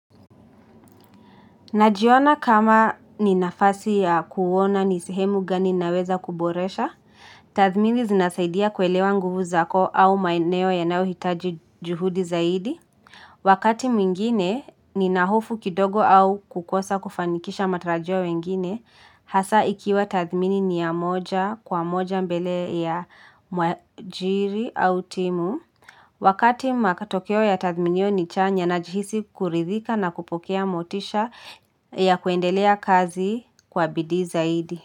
Najiona kama ni nafasi ya kuona ni sehemu gani naweza kuboresha, tathmini zinasaidia kuelewa nguvu zako au maeneo yanayohitaji juhudi zaidi. Wakati mwingine, nina hofu kidogo au kukosa kufanikisha matarajio ya wengine, hasa ikiwa tathmini ni ya moja kwa moja mbele ya mwajiri au timu. Wakati matokeo ya tathminio ni chanya najihisi kuridhika na kupokea motisha ya kuendelea kazi kwa bidii zaidi.